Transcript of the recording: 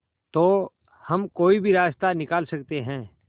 तो हम कोई रास्ता निकाल सकते है